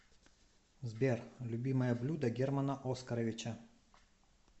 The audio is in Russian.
сбер любимое блюдо германа оскаровича